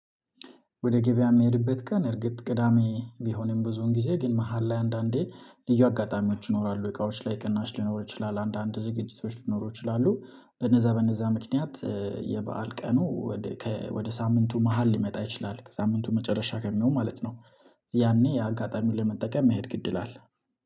ወደ ገበያ የሚሄድበት ቀን እርግጥ ቅዳሜ ቢሆንም ብዙውን ጊዜ ግን መሃል ላይ አንዳንዴ ልዩ አጋጣሚዎች ይኖራሉ እቃዎች ላይ ቅናሽ ሊኖሩ ይችላሉ አንዳንድ ዝግጅቶች ሊኖሩ ይችላሉ በነዛ በነዛ ምክንያት የበአል ቀኑ ወደ ሳምንቱ መሃል ሊመጣ ይችላል ሳምንቱ መጨረሻ ከሚሆን ማለት ነው። ያኔ አጋጣሚው ለመጠቀም መሄድ ግድ ይላል